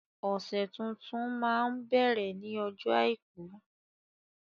Ọ̀sẹ̀ tuntun máa ń bẹ̀rẹ̀ ní ọjọ́ àìkú